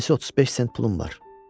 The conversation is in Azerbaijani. Cəmisi 35 sent pulum var.